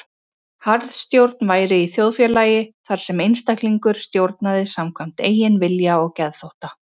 Harðstjórn væri í þjóðfélagi þar sem einstaklingur stjórnaði samkvæmt eigin vilja og geðþótta.